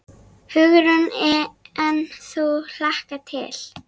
Hugrún: En þú hlakkar til?